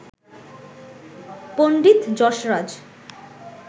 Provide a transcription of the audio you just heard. Pandit Jasraj